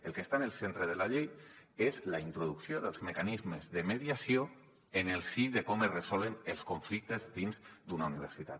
el que està en el centre de la llei és la introducció dels mecanismes de mediació en el si de com es resolen els conflictes dins d’una universitat